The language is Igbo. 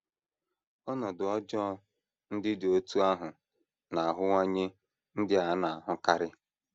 Ọnọdụ ọjọọ ndị dị otú ahụ na - aghọwanye ndị a na - ahụkarị.